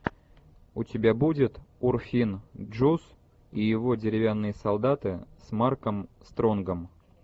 у тебя будет урфин джюс и его деревянные солдаты с марком стронгом